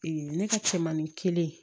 ne ka cɛmanin kelen